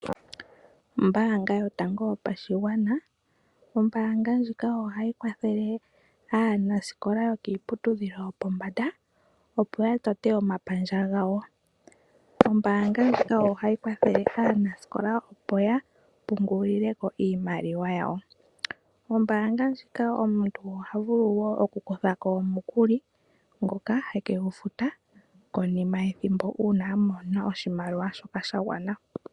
Ombaanga yotango yopashigwana. Ombaanga ndjika ohayi kwathele aanasikola yokiiputudhilo yopombanda opo ya tote omapandja gawo. Ombaanga ndjika ohayi kwathele aanasikola opo ya pungulile ko iimaliwa yawo. Ombaanga ndjika omuntu oha vulu wo okukutha ko omukuli ngoka hekegufuta konima yethimbo uuna a mona oshimaliwa sha gwana.